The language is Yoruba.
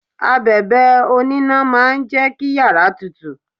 Abẹ̀bẹ̀ oníná máa jẹ kí yàrá tutù.